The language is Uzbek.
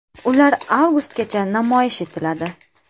Ular avgustgacha namoyish etiladi.